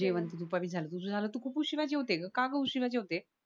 जेवण तर दुपारीच झालं तुझं झालं तू खूप उशिरा जेवते ग का ग उशिरा जेवते